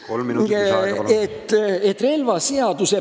Kolm minutit lisaaega, palun!